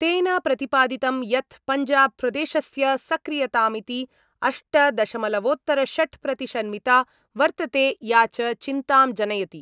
तेन प्रतिपादितं यत् पञ्जाबप्रदेशस्य सक्रियतामिति अष्टदशमलवोतरषट् प्रतिशन्मिता वर्तते या च चिन्तां जनयति।